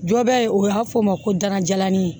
Jɔ bɛ ye o y'a fɔ ma ko dalajalani ye